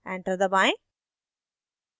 enter दबाएं